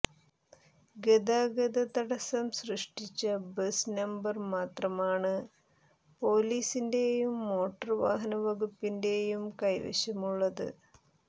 ഗതാഗത തടസ്സം സൃഷ്ടിച്ച ബസ് നമ്പർ മാത്രമാണ് പൊലീസിന്റെയും മോട്ടോർ വാഹനവകുപ്പിന്റെയും കൈവശമുള്ളത്